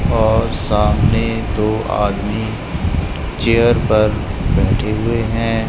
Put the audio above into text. और सामने दो आदमी चेयर पर बैठे हुए हैं।